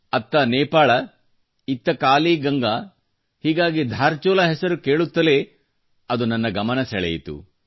ಅತ್ತ ನೇಪಾಳ ಇತ್ತಕಾಲಿ ಗಂಗಾ ಹೀಗಾಗಿ ಧಾರಚುಲಾ ಹೆಸರು ಕೇಳುತ್ತಲೇ ಅದು ನನ್ನ ಗಮನ ಸೆಳೆಯಿತು